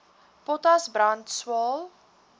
potas brand swael